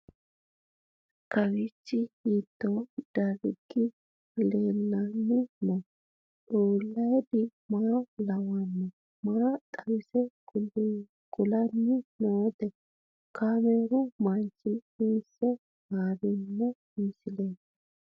Kowiicho hiito dargi leellanni no ? ulayidi maa lawannoho ? maa xawisse kultanni noote ? kaameru manchi hiisse haarino misileeti?